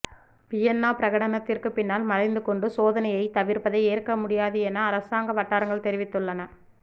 Vienna பிரகடனத்திற்கு பின்னால் மறைந்துகொண்டு சோதனையை தவிர்ப்பதை ஏற்க முடியாது என அரசாங்க வட்டாரங்கள் தெரிவித்துள்ளன